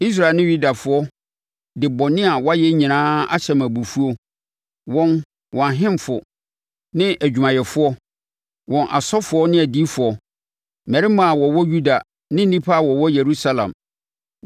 Israelfoɔ ne Yudafoɔ de bɔne a wɔayɛ nyinaa ahyɛ me abufuo, wɔn, wɔn ahemfo ne adwumayɛfoɔ, wɔn asɔfoɔ ne adiyifoɔ, mmarima a wɔwɔ Yuda ne nnipa a wɔwɔ Yerusalem.